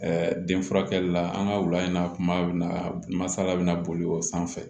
den furakɛli la an ka wula in na kuma bɛ na masala bɛna boli o sanfɛ